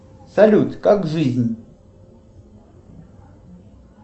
салют как жизнь